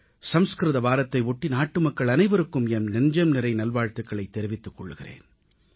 சம்ஸ்கிருத வாரத்தை ஒட்டி நாட்டுமக்கள் அனைவருக்கும் என் நெஞ்சம்நிறை நல்வாழ்த்துகளைத் தெரிவித்துக் கொள்கிறேன்